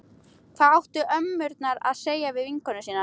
Hvað áttu ömmurnar að segja við vinkonur sínar?